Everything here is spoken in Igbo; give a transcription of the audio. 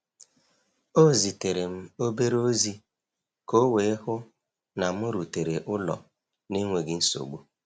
O zitere m obere ozi ka o wee hụ na m rutere ụlọ n’enweghị nsogbu.